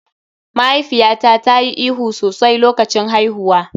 Mahaifiyata ta yi ihu sosai a lokacin haihuwa.